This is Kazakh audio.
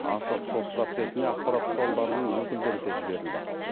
ашық сот процесіне ақпарат құралдарының өкілдері де жіберілді